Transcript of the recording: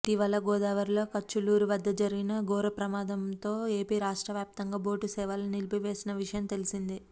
ఇటీవల గోదావరిలో కచ్చలూరు వద్ద జరిగిన ఘోర ప్రమాదంతో ఏపీ రాష్ట్ర వ్యాప్తంగా బోటు సేవలను నిలిపివేసిన విషయం తెలిసిందే